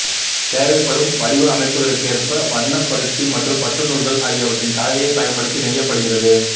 தேவைப்படும் வடிவமைப்புகளுக்கேர்ப்ப வண்ண பருத்தி மற்றும் பட்டு நூல்கள் ஆகியவற்றின் கலவையைப் பயன்படுத்தி நெய்யப்படுகிறது